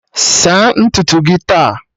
Saa ntutu gị taa